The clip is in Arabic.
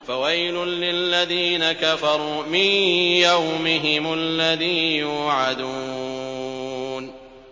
فَوَيْلٌ لِّلَّذِينَ كَفَرُوا مِن يَوْمِهِمُ الَّذِي يُوعَدُونَ